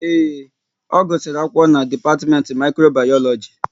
Ee, ọ gusiri akwụkwọ n'dipatimenti Mikrobayoloji